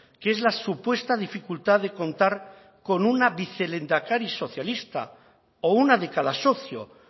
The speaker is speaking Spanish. que es la supuesta dificultad de contar con una vicelehendakari socialista o una de cada socio